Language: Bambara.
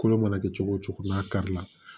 Kolo mana kɛ cogo o cogo n'a kari la